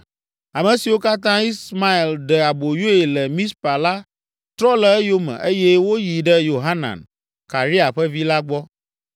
Ame siwo katã Ismael ɖe aboyoe le Mizpa la trɔ le eyome eye woyi ɖe Yohanan, Karea ƒe vi la gbɔ.